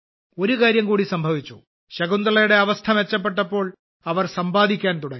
ഒരു കാര്യം കൂടി സംഭവിച്ചു ശകുന്തളയുടെ അവസ്ഥ മെച്ചപ്പെട്ടപ്പോൾ അവർ സമ്പാദിക്കാൻ തുടങ്ങി